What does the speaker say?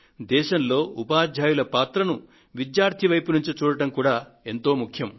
దేశంలో ఉపాధ్యాయుల పాత్రను విద్యార్థి వైపు నుండి చూడడం కూడా ఎంతో ముఖ్యం